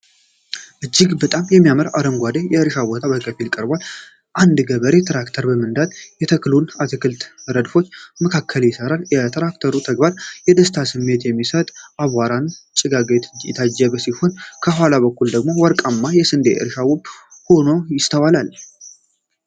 እጅግ በጣም የሚያምር አረንጓዴ የእርሻ ቦታ በከፊል ይቀርባል። አንድ ገበሬ ትራክተር በመንዳት በተስተካከሉ የአትክልት ረድፎች መካከል ይሠራል። የትራክተሩ ተግባር የደስታ ስሜት በሚሰጥ አቧራማ ጭጋግ የታጀበ ሲሆን፣ ከኋላ በኩል ደግሞ ወርቃማ የስንዴ እርሻ ውብ ሆኖ ይስተዋላል።